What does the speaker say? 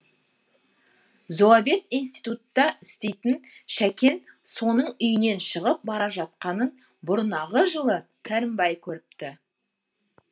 зоовет институтта істейтін шәкен соның үйінен шығып бара жатқанын бұрнағы жылы керімбай көріпті